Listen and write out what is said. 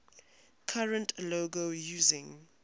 current logo using